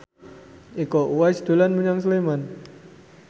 Iko Uwais dolan menyang Sleman